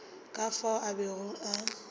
ka fao a bego a